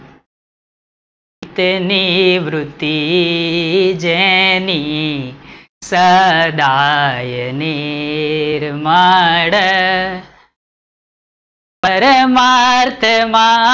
સેની ઋતિ જેની સદાય નિર્મળ પરમાર્થ માં,